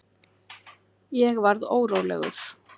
Ég varð órólegur.